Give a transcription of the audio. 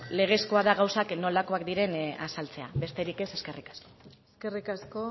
legezkoa da gauzak nolakoak diren azaltzea besterik ez eskerrik asko eskerrik asko